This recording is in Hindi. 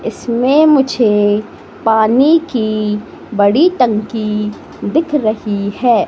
इसमें मुझे पानी की बड़ी टंकी दिख रही है।